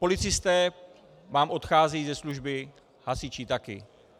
Policisté vám odcházejí ze služby, hasiči taky.